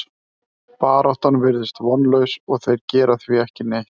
Baráttan virðist vonlaus og þeir gera því ekki neitt.